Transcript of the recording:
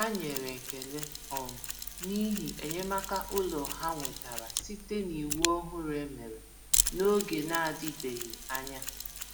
Ha nyere ekele um n’ihi enyémàkà ụlọ ha nwetara site n’iwu òhùrù e mere n'oge na-adịbeghị anya.